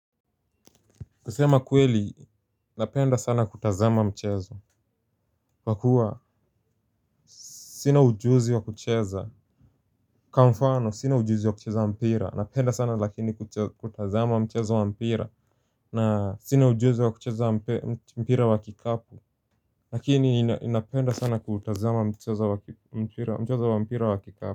Kusema kweli, napenda sana kutazama mchezo. Kwa kuwa, sina ujuzi wa kucheza kwa mfano, sina ujuzi wa kucheza wa mpira. Napenda sana lakini kutazama mchezo wa mpira. Na sina ujuzi wa kucheza wa mpira wa kikapo. Lakini, ninapenda sana kutazama mchezo wa mpira wa kikapu.